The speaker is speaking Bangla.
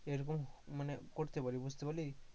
এরকম মানে করতে পারি, বুঝতে পারলি,